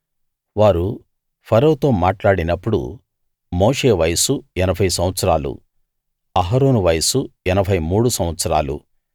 వారు ఫరోతో మాట్లాడినప్పుడు మోషే వయసు 80 సంవత్సరాలు అహరోను వయసు 83 సంవత్సరాలు